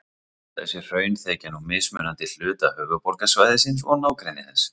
Þessi hraun þekja nú mismunandi hluta höfuðborgarsvæðisins og nágrennis þess.